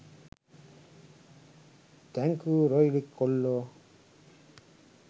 thank you රොයිලි කොල්ලෝ